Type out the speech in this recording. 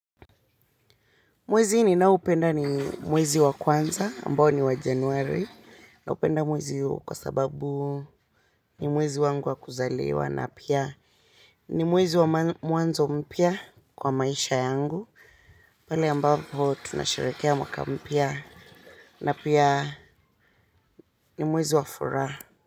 Mwezi ninao penda ni mwezi wa kwanza, ambao ni wa Januari. Na upenda mwezi huu kwa sababu ni mwezi wangu wa kuzaliwa na pia ni mwezi wa mwanzo mpya kwa maisha yangu. Pale ambapo tunasherekea mwaka mpya na pia ni mwezi wa furaha.